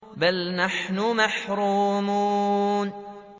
بَلْ نَحْنُ مَحْرُومُونَ